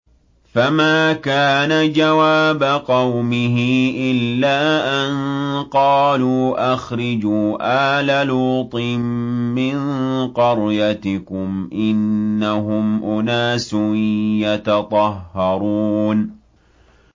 ۞ فَمَا كَانَ جَوَابَ قَوْمِهِ إِلَّا أَن قَالُوا أَخْرِجُوا آلَ لُوطٍ مِّن قَرْيَتِكُمْ ۖ إِنَّهُمْ أُنَاسٌ يَتَطَهَّرُونَ